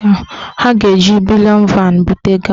Ha ga-eji bulịọn van bute ego ahụ.